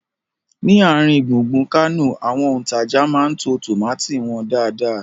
Ni àrin gbùngbùn Kánò, àwọn òntajà máa ń to tómátì wọn dáadáa